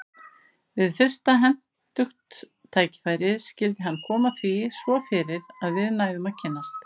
Við fyrsta hentugt tækifæri skyldi hann koma því svo fyrir að við næðum að kynnast.